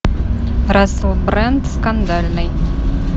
рассел брэнд скандальный